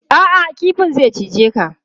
A'a, kifin zai cije ka.